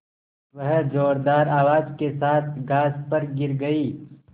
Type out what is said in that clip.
वह ज़ोरदार आवाज़ के साथ घास पर गिर गई